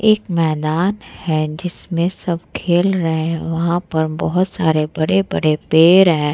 जिसमें सब खेल रहे हैं वहाँ पर बहुत सारे बड़े-बड़े पेड़ हैं ।